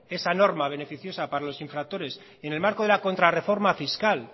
esa norma beneficiosa para los infractores en el marco de la contrarreforma fiscal